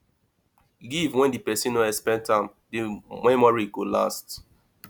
give when di persin no expect am di memory go last